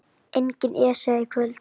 Engin Esja í kvöld.